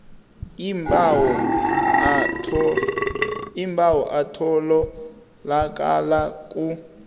iimbawo atholakala ku